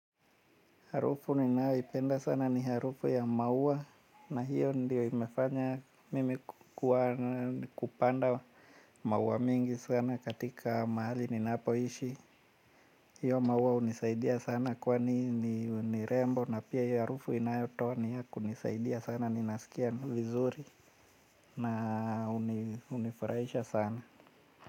Harufu ninayoipenda sana ni harufu ya maua na hiyo ndiyo imefanya mimi kupanda maua mingi sana katika mahali ninaapoishi. Hiyo maua hunisaidia sana kwani nirembo na pia hiyo harufu inayotoa ni ya kunisaidia sana ninasikia vizuri na hunifurahisha sana.